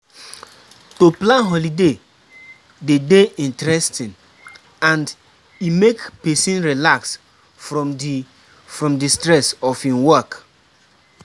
To plan holiday de dey interesting and e make persin relax from di from di stress of im work